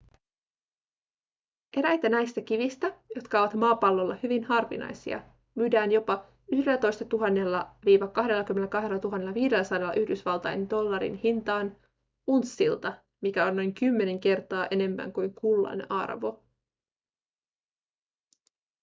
eräitä näistä kivistä jotka ovat maapallolla hyvin harvinaisia myydään jopa 11 000-22 500 yhdysvaltain dollarin hintaan unssilta mikä on noin kymmenen kertaa enemmän kuin kullan arvo